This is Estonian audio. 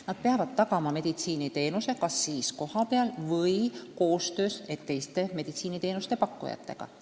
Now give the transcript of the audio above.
Nad peavad tagama meditsiiniteenuse kas siis kohapeal või koostöös teiste meditsiiniteenuste pakkujatega.